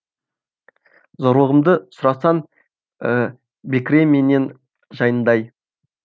зорлығымды сұрасаң бекіре менен жайындай